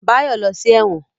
Báyọ̀ lọ sí ẹ̀wọ̀n